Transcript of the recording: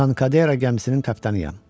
Tankadera gəmisinin kapitanıyam.